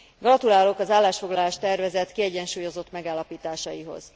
Gratulálok az állásfoglalás tervezet kiegyensúlyozott megállapításaihoz.